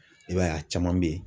I b'a ye a caman bɛ yen.